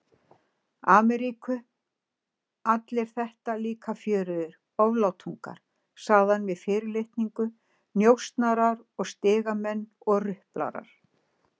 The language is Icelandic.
Ameríku, allir þetta líka fjörugir oflátungar, sagði hann með fyrirlitningu, njósnarar og stigamenn og ruplarar.